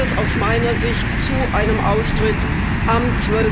Dann wird es aus meiner Sicht zu einem Austritt am